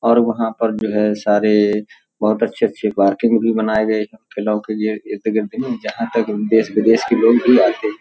और वहां पर जो है सारेेे बहोत अच्छे-अच्छे पार्कें भी बनाए गये खेलों के लिए। जहां तक देश- विदेश के लोग भी आते है।